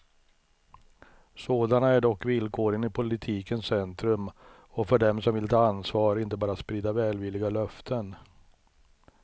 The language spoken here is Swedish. Sådana är dock villkoren i politikens centrum och för dem som vill ta ansvar, inte bara sprida välvilliga löften.